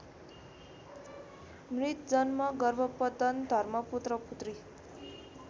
मृतजन्म गर्भपतन धर्मपुत्रपुत्री